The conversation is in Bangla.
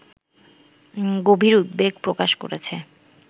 গভীর উদ্বেগ প্রকাশ করেছে